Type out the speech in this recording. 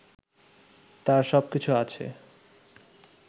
তার সব কিছু আছে